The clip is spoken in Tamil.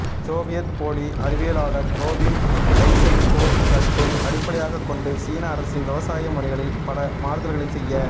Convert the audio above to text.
சோவியத் போலி அறிவியலாளர் ரோபிம் லைசென்கோ கருத்தை அடிப்படையாக கொண்டு சீன அரசு விவசாய முறைகளில் பல மாறுதல்களை செய்ய